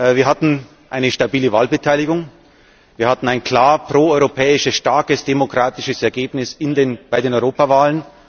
Wir hatten eine stabile Wahlbeteiligung, wir hatten ein klar pro europäisches, starkes, demokratisches Ergebnis bei der Europawahl.